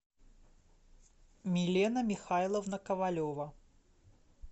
милена михайловна ковалева